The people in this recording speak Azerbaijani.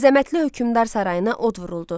Əzəmətli hökmdar sarayına od vuruldu.